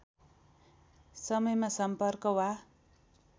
समयमा सम्पर्क वा